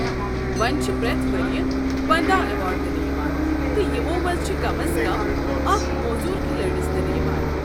وۄنۍ چھ پرٛٮ۪تھ ؤریہ پنٛدہَ ایوارڈ دنہٕ یوان، تہٕ یمو منٛز چھ کم از کم اکھ موزوٗر کھلٲڑِس دِنہٕ یوان۔